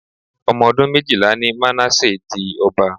Omodun méjìlá ni Manasseh di ọba.